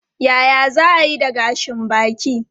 Yaya za a yi da gashin baki?